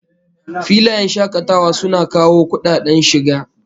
Filayen shakatawa suna kawo kudaden shiga